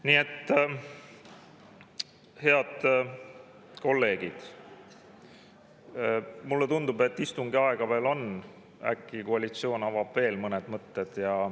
Nii et, head kolleegid, mulle tundub, et istungi aega veel on, äkki koalitsioon avab veel mõned mõtted.